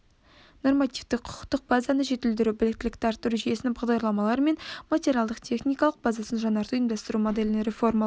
нормативтік құқықтық базаны жетілдіру біліктілікті арттыру жүйесінің бағдарламалары мен материалдық-техникалық базасын жаңарту ұйымдастыру моделін реформалау